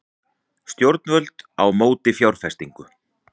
Stjórnvöld á móti fjárfestingu